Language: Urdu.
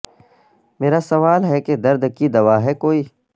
مرا سوال ہے کہ درد کی دوا ہے کوئی